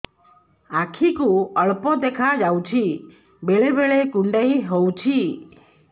ଆଖି କୁ ଅଳ୍ପ ଦେଖା ଯାଉଛି ବେଳେ ବେଳେ କୁଣ୍ଡାଇ ହଉଛି